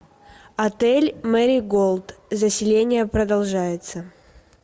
отель мэриголд заселение продолжается